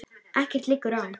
Ekkert liggur á